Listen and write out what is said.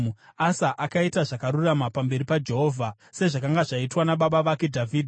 Asa akaita zvakarurama pamberi paJehovha, sezvakanga zvaitwa nababa vake Dhavhidhi.